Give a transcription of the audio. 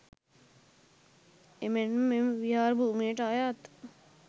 එමෙන්ම මෙම විහාර භූමියට අයත්